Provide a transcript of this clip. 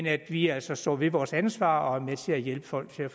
at vi altså står ved vores ansvar og er med til at hjælpe folk til at